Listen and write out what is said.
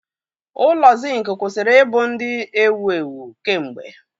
Ụlọ Zinc kwụsịrị ịbụ ndị ewu ewu kemgbe